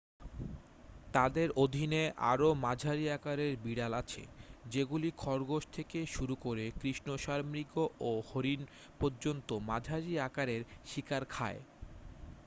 তাদের অধীনে আরও মাঝারি আকারের বিড়াল আছে যেগুলি খরগোশ থেকে শুরু করে কৃষ্ণসারমৃগ ও হরিণ পর্যন্ত মাঝারি আকারের শিকার খায়